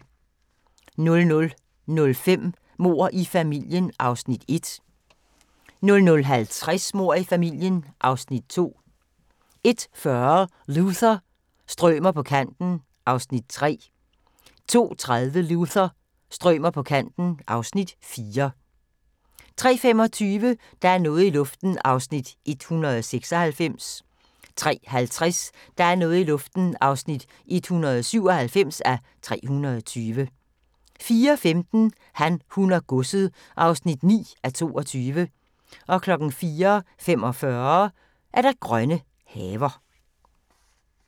00:05: Mord i familien (Afs. 1) 00:50: Mord i familien (Afs. 2) 01:40: Luther – strømer på kanten (Afs. 3) 02:30: Luther – strømer på kanten (Afs. 4) 03:25: Der er noget i luften (196:320) 03:50: Der er noget i luften (197:320) 04:15: Han, hun og godset (9:22) 04:45: Grønne haver